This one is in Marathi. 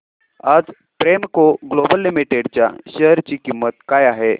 आज प्रेमको ग्लोबल लिमिटेड च्या शेअर ची किंमत काय आहे